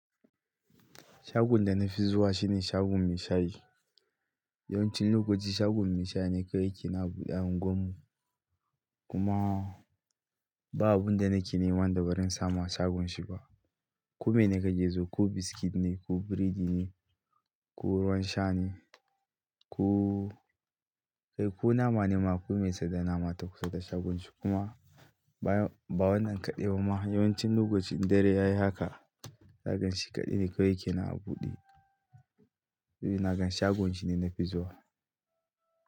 Shagon da na fi zuwa shine shagon mai shayi. Yawanci lokaci shagon mai shayi na kawai yake ne a buɗe a unguwarmu kuma ba abun da nake neman dabaran samu a shagon shi ba. Ku mene ka ke so, ko biskit ne, ko burodi ne, ko ruwan sha ne, kai, ko nama ne ma, ko mai sai da nama ta kusa da shagon shi kuma ba wannan kaɗai ba ma. Yawancin lokacin dare yayi haka, za ga shi kaɗai ne kawai a buɗe. Nagan shagon shi ne na fi zuwa.